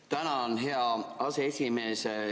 Tänan, hea aseesimees!